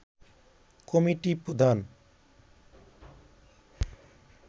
committee প্রধান